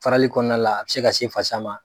Farali kɔnɔna la a bɛ se ka se fasa ma.